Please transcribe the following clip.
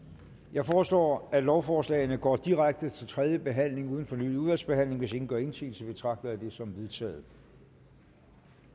jeg foreslår at lovforslagene går direkte til tredje behandling uden fornyet udvalgsbehandling hvis ingen gør indsigelse betragter jeg det som vedtaget